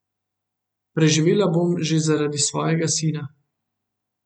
Preživela bom že zaradi svojega sina.